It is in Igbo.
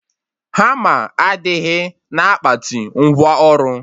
Hama adịghị na akpati ngwa ọrụ